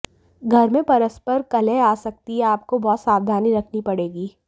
घर मंे परस्पर कलह आ सकती है आपको बहुत सावधानी रखनी पडेगी